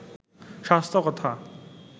স্বাস্থ্য কথা